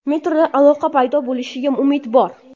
Metroda aloqa paydo bo‘lishiga umid bor.